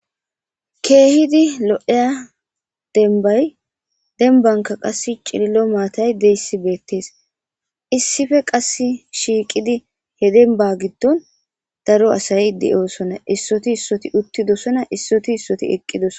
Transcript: Keehidi lo'eya denbay denbanka qass cililo maatay deyssi beettees issife qass shiiqidi hedenba giddon daro asay de'osonna issoti issoti uttidosona issoti issoti eqqidos.